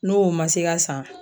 N'o ma se ka san